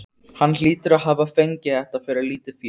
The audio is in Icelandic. Hann hlýtur að hafa fengið þetta fyrir lítið fé.